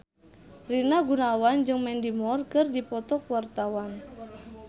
Rina Gunawan jeung Mandy Moore keur dipoto ku wartawan